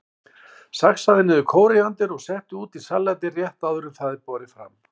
Saxaðu niður kóríander og settu út í salatið rétt áður en það er borið fram.